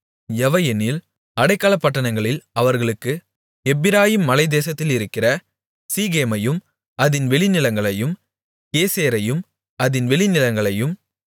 எவையெனில் அடைக்கலப்பட்டணங்களில் அவர்களுக்கு எப்பிராயீம் மலைத்தேசத்திலிருக்கிற சீகேமையும் அதின் வெளிநிலங்களையும் கேசேரையும் அதின் வெளிநிலங்களையும்